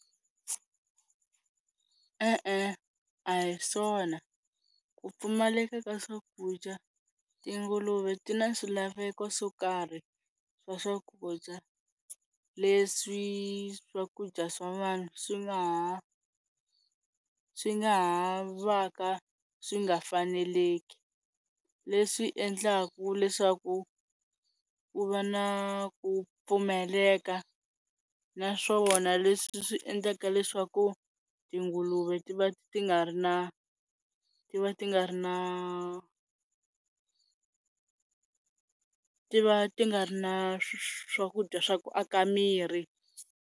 E-e a hi swona ku pfumaleka ka swakudya tinguluve ti na swilaveko swo karhi swa swakudya leswi swakudya swa vanhu swi nga ha swi nga havaka swi nga faneleki, leswi endlaka leswaku ku va na ku pfumeleka na swona leswi swi endlaka leswaku tinguluve ti va ti nga ri na ti va ti nga ri na ti va ti nga ri na swakudya swa ku aka miri.